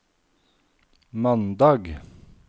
mandag